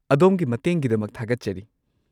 ꯑꯗꯣꯝꯒꯤ ꯃꯇꯦꯡꯒꯤꯗꯃꯛ ꯊꯥꯒꯠꯆꯔꯤ꯫